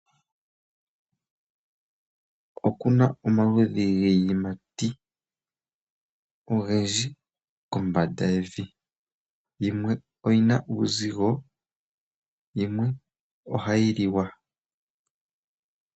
Oku na omaludhi giiyimati ogendji kombanda yevi. Yimwe oyi na uuzigo, yimwe ohayi liwa.